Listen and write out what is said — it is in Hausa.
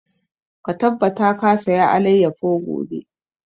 Ka tabbata ka saya alayyafo gobe!